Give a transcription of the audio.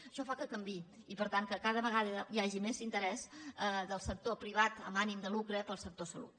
això fa que canviï i per tant que cada vegada hi hagi més interès del sector privat amb ànim de lucre pel sector salut